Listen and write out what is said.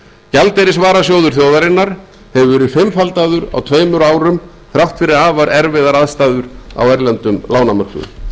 gjaldeyrisvarasjóður þjóðarinnar hefur verið fimmfaldaður á tveimur árum þrátt fyrir afar erfiðar aðstæður á erlendum lánamörkuðum